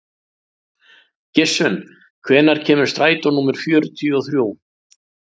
Gissunn, hvenær kemur strætó númer fjörutíu og þrjú?